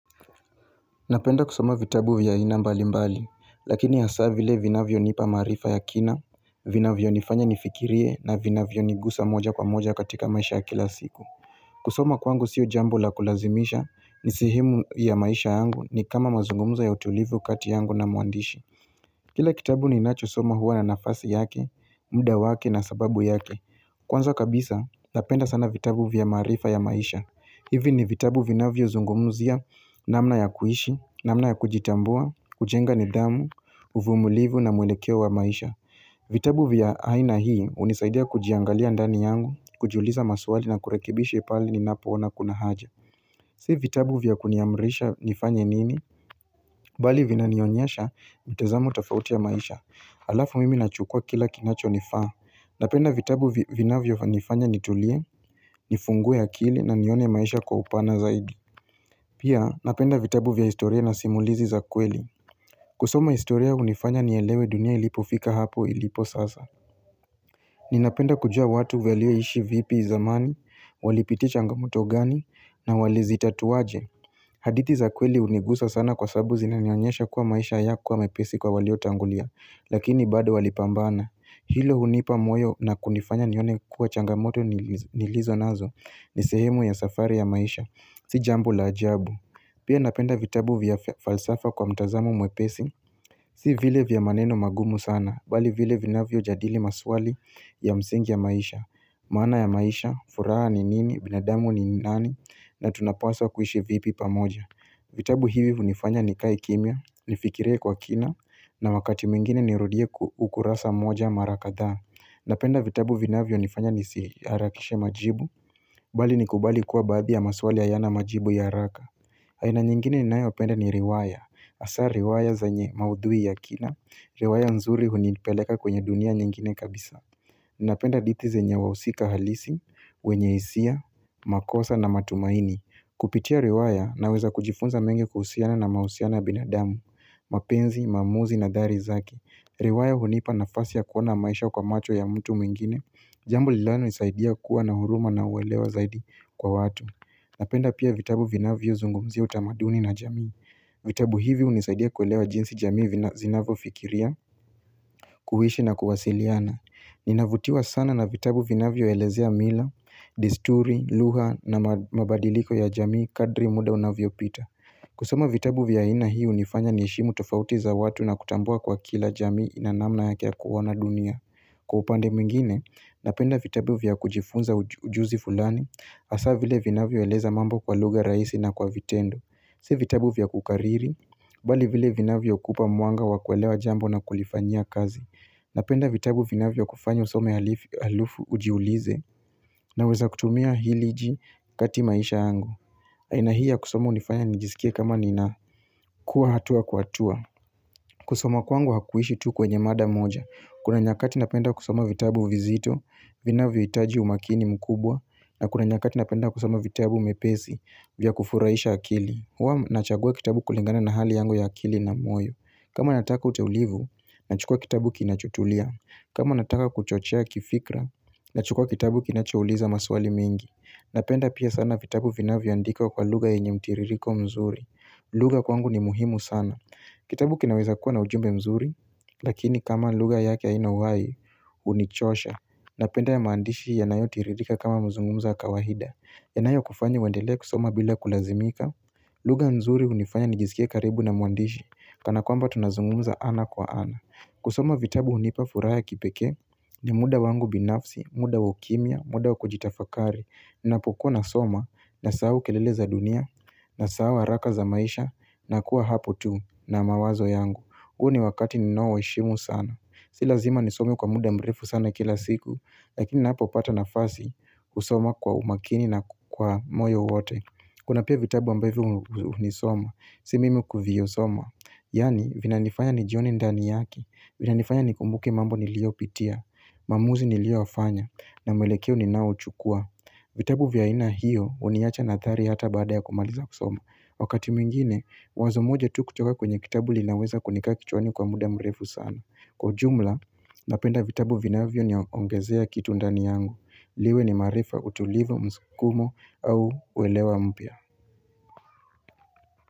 Napenda kusoma vitabu vya aina mbalimbali lakini hasa vile vinavyonipa maarifa ya kina vinavyonifanya nifikirie na vinavyonigusa moja kwa moja katika maisha ya kila siku kusoma kwangu sio jambo la kulazimisha ni sehemu ya maisha yangu ni kama mazungumzo ya utulivu kati yangu na mwandishi Kila kitabu ninachosoma huwa na nafasi yake muda wake na sababu yake kwanza kabisa napenda sana vitabu vya maarifa ya maisha hivi ni vitabu vinavyozungumzia namna ya kuishi, namna ya kujitambua, kujenga nidhamu, uvumilivu na mwelekeo wa maisha. Vitabu vya aina hii hunisaidia kujiangalia ndani yangu, kujiuliza maswali na kurekebisha pali ninapoona kuna haja. Si vitabu vya kuniamrisha nifanye nini, mbali vinanionyesha mtazamo tofauti wa maisha. Halafu mimi nachukua kila kinachonifaa Napenda vitabu vinavyonifanya nitulie, nifungue akili na nione maisha kwa upana zaidi Pia napenda vitabu vya historia na simulizi za kweli kusoma historia hunifanya nielewe dunia ilipofika hapo ilipo sasa Ninapenda kujua watu walioishi vipi zamani, walipitia changamoto gani na walizitatua aje hadithi za kweli hunigusa sana kwa sababu zinanionyesha kuwa maisha hayakuwa mepesi kwa waliotangulia Lakini bado walipambana Hilo hunipa moyo na kunifanya nione kuwa changamoto nilizonazo ni sehemu ya safari ya maisha. Si jambo la ajabu. Pia napenda vitabu vya falsafa kwa mtazamo mwepesi. Si vile vya maneno magumu sana. Mbali vile vinavyojadili maswali ya msingi wa maisha. Maana ya maisha, furaha ni nini, binadamu ni nani, na tunapaswa kuishi vipi pamoja. Vitabu hivi hunifanya nikae kimya, nifikirie kwa kina, na wakati mwingine nirudie ukurasa mmoja marakadhaa Napenda vitabu vinavyonifanya nisiharakishe majibu mbali nikubali kuwa baadhi ya maswali hayana majibu ya haraka haina nyingine ninayopenda ni riwaya hasa riwaya zenye maudhui ya kina riwaya nzuri hunipeleka kwenye dunia nyingine kabisa Napenda hadithi zenye wahusika halisi wenye hisia, makosa na matumaini Kupitia riwaya naweza kujifunza mengi kuhusiana na mahusiano ya binadamu mapenzi, maamuzi na athari zake riwaya hunipa nafasi ya kuona maisha kwa macho ya mtu mwingine Jambo linalonisaidia kuwa na huruma na uelewa zaidi kwa watu Napenda pia vitabu vinavyozungumzia utamaduni na jamii vitabu hivi hunisaidia kuelewa jinsi jamii vina zinavyo fikiria kuishi na kuwasiliana Ninavutiwa sana na vitabu vinavyoelezea mila desturi, lugha na mabadiliko ya jamii kadri muda unavyo pita kusoma vitabu vya aina hii hunifanya niheshimu tofauti za watu na kutambua kuwa kila jamii inanamna yake ya kuona dunia Kwa upande mwingine, napenda vitabu vya kujifunza ujuzi fulani hasa vile vinavyo eleza mambo kwa lugha rahisi na kwa vitendo Si vitabu vya kukariri, mbali vile vinavyuoakupa mwanga wa kuelewa jambo na kulifanyia kazi Napenda vitabu vinavyokufanya usome halafu ujiulize naweza kutumia nini hivi kati maisha yangu aina hii ya kusoma hunifanya nijisikie kama ninakuwa hatua kwa hatua kusoma kwangu hakuishi tu kwenye mada moja Kuna nyakati napenda kusoma vitabu vizito Vinavyohitaji umakini mkubwa na kuna nyakati napenda kusoma vitabu nyepesi vya kufurahisha akili huwa nachagua kitabu kulingana na hali yangu ya akili na moyo kama nataka utulivu Nachukua kitabu kinachotulia kama nataka kuchochea kifikra Nachukua kitabu kinachouliza maswali mengi Napenda pia sana vitabu vinavyoandikwa kwa lugha yenye mtiririko mzuri lugha kwangu ni muhimu sana Kitabu kinaweza kuwa na ujumbe mzuri Lakini kama lugha yake haina uhai hunichosha Napenda ya maandishi yanayo tiririka kama mazungumza ya kawaida yanayo kufanya uendelee kusoma bila kulazimika lugha nzuri hunifanya nijisikie karibu na mwandishi Kana kwamba tunazungumza ana kwa ana kusoma vitabu hunipa furaha ya kipekee ni muda wangu binafsi, muda wa ukimya, muda wa kujitafakari Ninapokuwa nasoma nasahau kelele za dunia nasahau haraka za maisha na kuwa hapo tu na mawazo yangu huu ni wakati ninaoheshimu sana Si lazima nisome kwa muda mrefu sana kila siku Lakini hapo hupata nafasi kusoma kwa umakini na kwa moyo wote Kuna pia vitabu ambavyo huvisoma Si mimi kuvisoma Yaani vinanifanya nijione ndani yake Vinanifanya nikumbuke mambo niliyopitia maamuzi niliyoyafanya na mwelekeo ninaouchukua vitabu vya aina hiyo huniacha na athari hata baada ya kumaliza kusoma Wakati mwingine, wazo moja tu kutoka kwenye kitabu linaweza kunikaa kichwani kwa muda mrefu sana Kwa ujumla, napenda vitabu vinavyo niongezea kitu ndani yangu liwe ni maarifa utulivu msukumo au uelewa mpya.